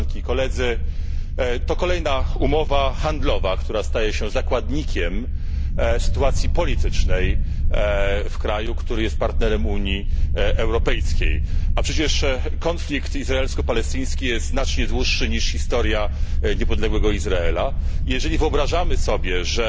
To kolejna umowa handlowa, która staje się zakładnikiem sytuacji politycznej w kraju, który jest partnerem Unii Europejskiej. A przecież konflikt izraelsko palestyński jest znacznie dłuższy niż historia niepodległego Izraela i jeżeli wyobrażamy sobie, że